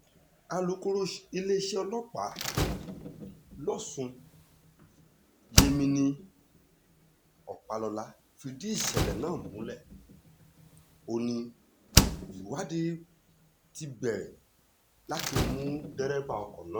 alūkkóró fúnléèṣẹ̀ ọlọ́pàá lọ́sùn yemini ọpàlọ́lá fìdí ìṣẹ̀lẹ̀ náà múlẹ̀ ó ní ìwádìí ti bẹ̀rẹ̀ láti mú dẹ́rẹ́bà ọkọ̀ náà